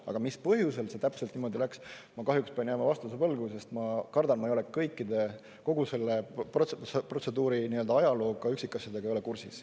Aga mis põhjusel see täpselt niimoodi läks, ma kahjuks pean jääma vastuse võlgu, sest ma kardan, ma ei ole kõikide, kogu selle protseduuri nii-öelda ajalooga, üksikasjadega ei ole kursis.